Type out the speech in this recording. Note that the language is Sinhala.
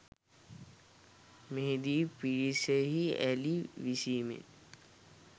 මෙහිදී පිරිසෙහි ඇලී විසීමෙන්